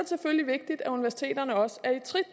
selvfølgelig vigtigt at universiteterne også